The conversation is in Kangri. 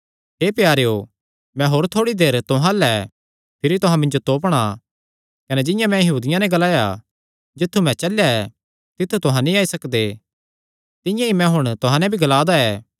हे प्यारेयो मैं होर थोड़ी देर तुहां अल्ल ऐ भिरी तुहां मिन्जो तोपणा कने जिंआं मैं यहूदियां नैं ग्लाया जित्थु मैं चलेया ऐ तित्थु तुहां नीं आई सकदे तिंआं ई मैं हुण तुहां नैं भी ग्ला दा ऐ